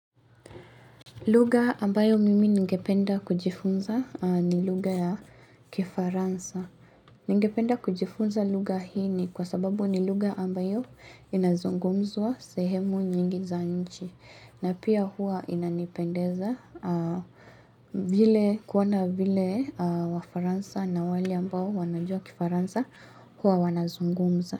Lugha ambayo mimi ningependa kujifunza ni lugha ya Kifaransa. Ningependa kujifunza lugha hini kwa sababu nilugha ambayo inazungumzwa sehemu nyingi za nchi. Na pia huwa inanipendeza vile kuona vile wafaransa na wale ambayo wanajua Kifaransa huwa wanazungumza.